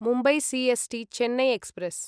Mumbai C S T Chennai express